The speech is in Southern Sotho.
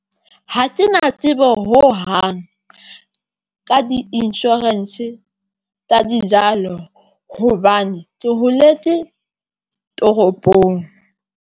Ha ke na tsebo hohang ka di-insurance tsa dijalo hobane ke holetse toropong.